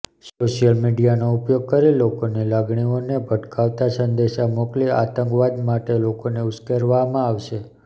social મિડીયાનો ઉપયોગ કરી લોકોની લાગણીઓને ભડકાવતા સંદેશા મોકલી આતંકવાદ માટે લોકોને ઉશ્કેરવવામાં આવશે